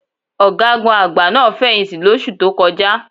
Ọ̀gágun àgbà náà fẹ̀yìǹtì lóṣù tó kọjá.